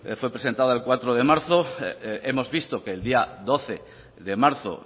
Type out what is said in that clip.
fue presentada el cuatro de marzo hemos visto que el día doce de marzo